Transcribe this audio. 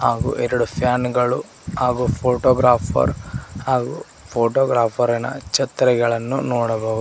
ಹಾಗೂ ಎರಡು ಫ್ಯಾನು ಗಳು ಹಾಗೂ ಫೋಟೋಗ್ರಾಫರ್ ಹಾಗೂ ಫೋಟೋಗ್ರಾಫರ್ ಇನ ಛತ್ರಿಗಳನ್ನು ನೋಡಬಹುದು.